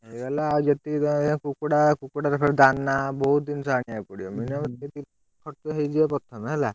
ହେଇଗଲା ଆଉ ଯେତିକି ତା ଧୀଅରେ କୁକୁଡ଼ା କୁକୁଡାର ଫେରେ ଦାନା ବହୁତ୍ ଜିନିଷ ଆଣିଆ କୁ ପଡିବ। minimum ହେଇଯିବ ପ୍ରଥମେ ହେଲା।